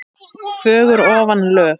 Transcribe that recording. fögur ofan lög.